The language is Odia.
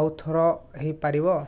ଆଉ ଥର ହେଇପାରିବ